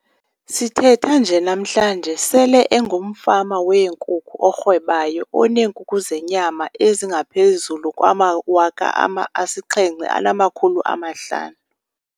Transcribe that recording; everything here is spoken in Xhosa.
Sithetha nje namhlanje, sele engumfama wenkukhu orhwebayo oneenkukhu zenyama ezingaphezulu kwama-7 500.